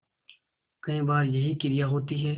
कई बार यही क्रिया होती है